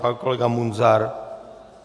Pan kolega Munzar?